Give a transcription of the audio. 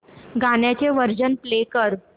गाण्याचे version play कर